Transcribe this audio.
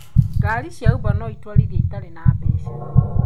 Gari cia uber noitwarithie itarĩ na mbeca?